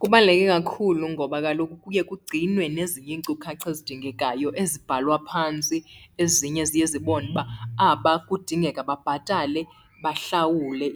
Kubaluleke kakhulu ngoba kaloku kuye kugcinwe nezinye iinkcukacha ezidingekayo ezibhalwa phantsi. Ezinye ziye zibone uba aba kudingeka babhatale, bahlawule